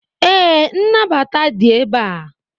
ee, nnabata dị ebe a